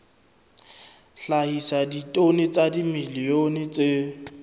hlahisa ditone tsa dimilione tse